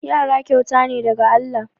Yara kyauta ne daga Allah.